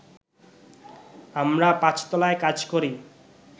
আমরা পাঁচতলায় কাজ করি